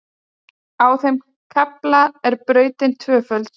Á þeim kafla er brautin tvöföld